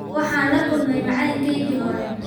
Waxaan la kulmay macalinkaygii hore.